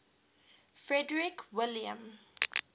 frederick william